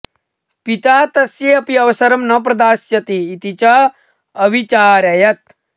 पिता तस्यै अपि अवसरं न प्रदास्यति इति च अविचारयत्